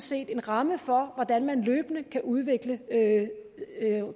set en ramme for hvordan man løbende kan udvikle